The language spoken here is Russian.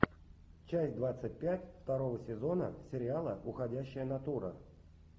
часть двадцать пять второго сезона сериала уходящая натура